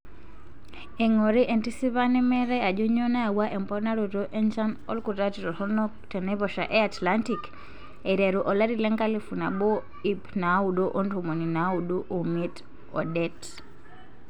Eingori entisipa nemeetae ajo nyoo nayawua emponaroto enchan olkutati toronok tenaiposha e Atlantic aiteru olari lenkalifu nabo iip naaudo ontomoni naaudo omiet odet.